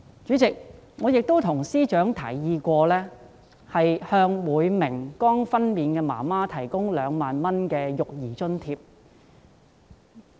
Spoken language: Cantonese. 主席，我曾經向司長提議，向每名剛分娩的婦女提供2萬元的育兒津貼。